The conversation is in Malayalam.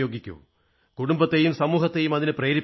കുടുംബത്തെയും സമൂഹത്തെയും അതിനു പ്രേരിപ്പിക്കൂ